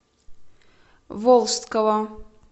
волжского